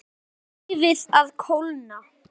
Leyfið að kólna.